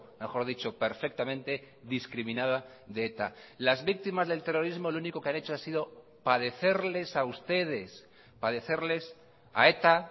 mejor dicho perfectamente discriminada de eta las víctimas del terrorismo lo único que han hecho ha sido padecerles a ustedes padecerles a eta